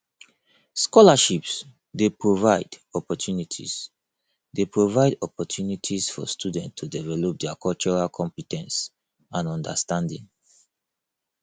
scholarships dey provide opportunities dey provide opportunities for students to develop dia cultural compe ten ce and understanding